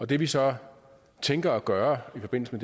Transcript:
det vi så tænker at gøre i forbindelse